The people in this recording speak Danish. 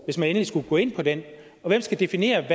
hvis man endelig skulle gå ind på den og hvem skal definere